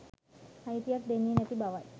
අයිතියක් දෙන්නේ නැති බවයි